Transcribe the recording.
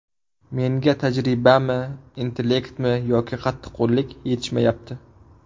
Menga tajribami, intelektmi yoki qattiqqo‘llikmi yetishmayapti.